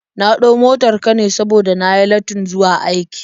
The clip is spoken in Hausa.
Na ɗau motar ka ne saboda na yi lattin zuwa aiki.